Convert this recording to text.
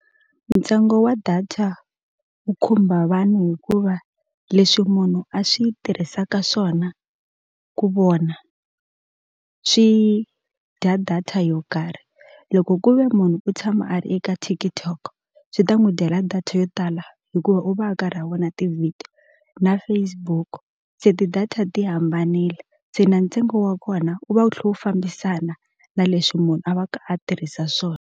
Ntsengo wa data wu khumba vanhu hikuva leswi munhu a swi tirhisaka swona ku vona swi dya data yo karhi loko ku ve munhu u tshama a ri eka TikTok swi ta n'wu dyela data yo tala hikuva u va a karhi a vona ti-video na Facebook se ti-data ti hambanile se na ntsengo wa kona wu va wu tlhe wu fambisana na leswi munhu a va ka a tirhisa swona.